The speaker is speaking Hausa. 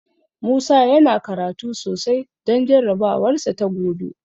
Musa yana karatu sosai don jarabawarsa ta gobe.